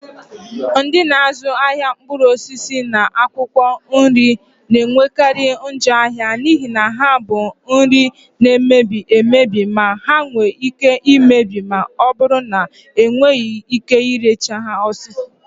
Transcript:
Ndị na-azụ ahịa mkpụrụ osisi na akwụkwọ nri na-enwekarị njọ ahịa n'ihi na ha bụ nri na-emebi emebi ma nwee ike imebi ma ọ bụrụ na enweghị ike ire ha n'oge